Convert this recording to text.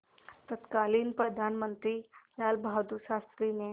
तत्कालीन प्रधानमंत्री लालबहादुर शास्त्री ने